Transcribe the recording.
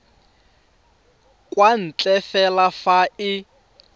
kwa ntle fela fa e